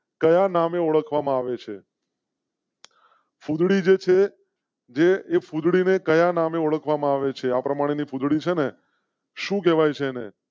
કયા નામે ઓળખવા માં આવે છે? ફુંધડી જાય છે. જે ફુંધડી ને કયા નામે ઓળખવા માં આવે છે. આ પ્રમાણે ફુંધડી જે છે શું કહેવાય છે ને?